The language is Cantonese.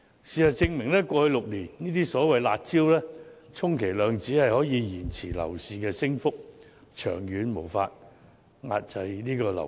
事實證明，過去6年推出的所謂"辣招"，充其量只能延遲樓市的升幅，長遠根本無法遏抑樓價。